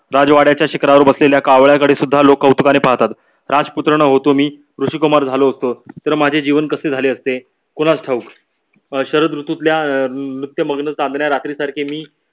राजवाड्याच्या शिखरावर बसलेल्या कावळ्याकडे सुद्धा लोक उत्साहाने पाहतात. राजपुत्र न होतो मी ऋषि कुमार झालो असतो तर माझे जीवन कसे झाले असते. कोणास ठाऊक अं शरद ऋतुतल्या अं नृत्यामग्न चांदण्या रात्री सारखे मी